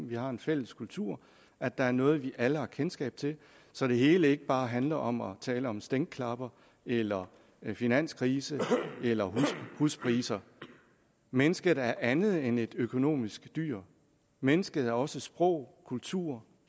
vi har en fælles kultur at der er noget vi alle har kendskab til så det hele ikke bare handler om at tale om stænklapper eller finanskrise eller huspriser mennesket er andet end et økonomisk dyr mennesket er også sprog kultur